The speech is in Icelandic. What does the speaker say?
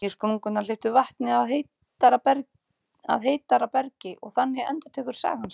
Nýju sprungurnar hleypa vatni að heitara bergi, og þannig endurtekur sagan sig.